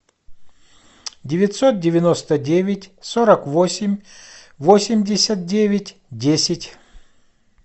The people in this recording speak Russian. девятьсот девяносто девять сорок восемь восемьдесят девять десять